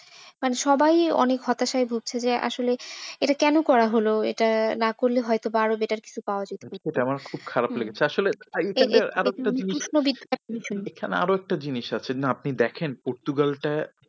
মানে সবাই অনেক হতাশায় ভুগছে যে আসলে এটা কেন করা হল, এটা না করলে হয়ত বা আরো better কিছু পাওয়া যেত। সেটা আমার খুব খারাপ লেগেছে। আসলে আর একটা জিনিস না আপনি দেখেন পর্তুগালটা